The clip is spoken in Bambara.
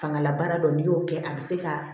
Fangalabaara dɔ n'i y'o kɛ a be se ka